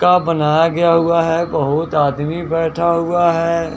का बनाया गया हुआ है बहुत आदमी बैठा हुआ हैं।